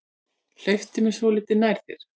Hleyptu mér svolítið nær þér.